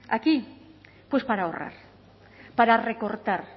aquí pues para ahorrar para recortar